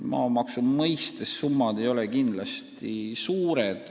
Asjaomased maamaksusummad ei ole kindlasti suured.